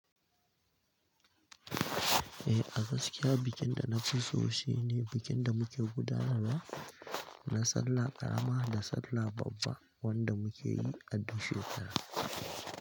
Eh, a gaskiya bikin da na fi so shine bikin da muke gudanarwa na Sallah Ƙarama da Sallah Babba wanda muke yi a du shekara.